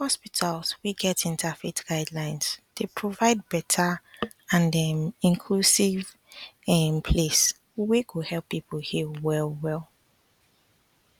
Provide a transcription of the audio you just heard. hospitals wey get interfaith guidelines dey provide better and um inclusive um place wey go help people heal well well